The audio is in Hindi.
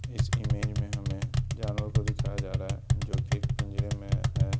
इस इमेज में हमें जानवरों को दिखाया जा रहा है जो कि एक पिंजरे में है।